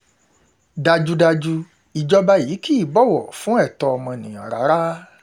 dájúdájú ìjọba yìí kì í bọ̀wọ̀ fún ẹ̀tọ́ fún ẹ̀tọ́ ọmọnìyàn rárá